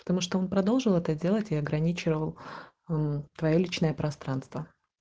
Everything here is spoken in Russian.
потому что он продолжил это делать или ограничивал твоё личное пространство